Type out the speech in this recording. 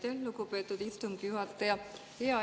Aitäh, lugupeetud istungi juhataja!